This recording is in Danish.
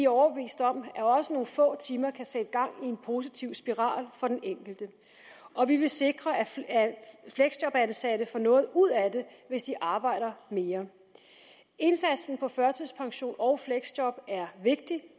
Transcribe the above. overbevist om at også nogle få timer kan sætte gang i en positiv spiral for den enkelte og vi vil sikre at fleksjobansatte får noget ud af det hvis de arbejder mere indsatsen på førtidspension og fleksjob er vigtig